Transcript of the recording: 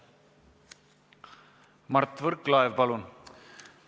Mart Võrklaev, palun!